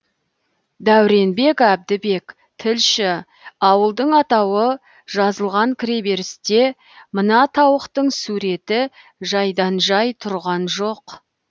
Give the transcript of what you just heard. дәуренбек әбдібек тілші ауылдың атауы жазылған кіреберісте мына тауықтың суреті жайдан жай тұрған жоқ